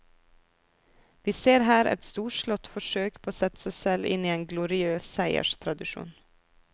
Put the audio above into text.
Vi ser her et storslått forsøk på å sette seg selv inn i en gloriøs seierstradisjon.